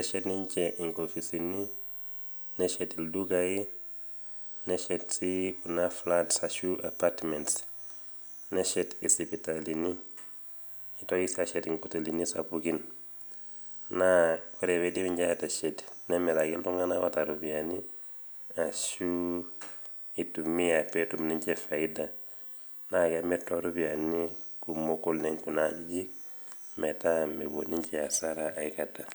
eshet ninche inkopisini, neshet ildukai, neshet sii kuna flats ashu apartments. neshet isipitalini, neitoki sii aashet inkotelini sapukini. ore pee eidip aateshet nemiraki iltungank oota iropiyiani, ashu itumia pee etum ninche faida. naa kemir too ropiyiani kumok oleng kuna ajijik metaa mepuo ninche asara aikata.